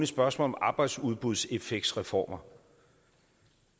spørgsmål om arbejdsudbudseffektsreformer